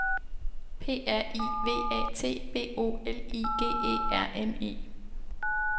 P R I V A T B O L I G E R N E